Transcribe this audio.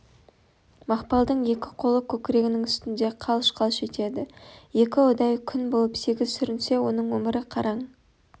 мақпалдың екі қолы көкірегінің үстінде қалш-қалш етеді екі ұдай күн болып сегіз сүрінсе оның өмірі қараң